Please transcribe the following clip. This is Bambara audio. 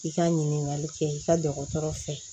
I ka ɲininkali kɛ i ka dɔgɔtɔrɔ fɛ